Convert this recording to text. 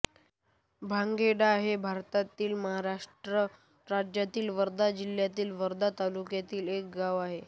भांगेडा हे भारतातील महाराष्ट्र राज्यातील वर्धा जिल्ह्यातील वर्धा तालुक्यातील एक गाव आहे